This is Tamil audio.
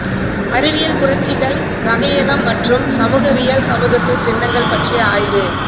அறிவியல் புரட்சிகள் வகையாக்கம் மற்றும் சமூகவியலில் சமூகத்தின் சின்னங்கள் பற்றிய ஆய்வு